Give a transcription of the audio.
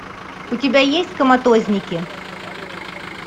у тебя есть коматозники